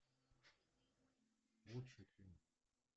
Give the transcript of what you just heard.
лучший фильм